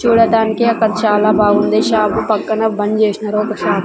చూడటానికి అక్కడ చాలా బాగుంది షాప్ పక్కన బంద్ చేసినారు ఒక షాప్ .